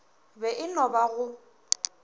be e no ba go